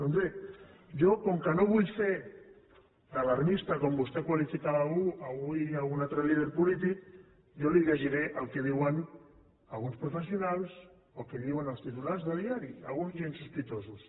doncs bé jo com que no vull fer d’alarmista com vostè qualificava avui un altre líder polític jo li llegiré què diuen alguns professionals o el que diuen els titulars de diari alguns gens sospitosos